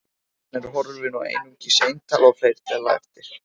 Tvítalan er horfin og einungis eintala og fleirtala eftir.